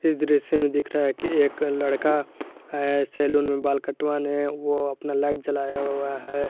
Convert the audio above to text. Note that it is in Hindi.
इस दृश्य में दिख रहा है कि एक लड़का है सैलून में बाल कटवाने वो अपना लाइट जलाया हुआ है।